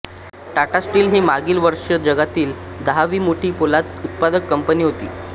Tata Steel ही मागील वर्षी जगातील दहावी मोठी पोलाद उत्पादक कंपनी होती